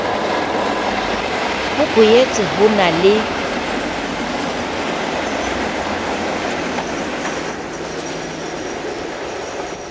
ho boetse ho na le